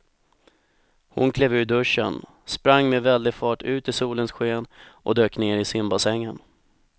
Hon klev ur duschen, sprang med väldig fart ut i solens sken och dök ner i simbassängen.